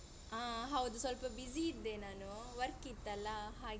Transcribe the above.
ಹಾ ಹೌದು ಸ್ವಲ್ಪ busy ಇದ್ದೆ ನಾನು work ವರ್ಕ್ ಇತ್ತಲ್ಲ ಹಾಗೆ.